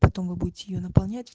потом вы будете её наполнять